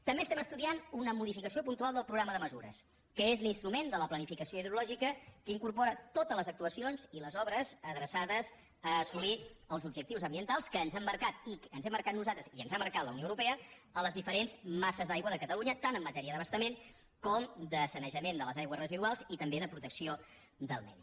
també estudiem una modificació puntual del programa de mesures que és l’instrument de la planificació hidrològica que incorpora totes les actuacions i les obres adreçades a assolir els objectius ambientals que ens hem marcat nosaltres i ens ha marcat la unió europea a les diferents masses d’aigua de catalunya tant en matèria d’abastament com de sanejament de les aigües residuals i també de protecció del medi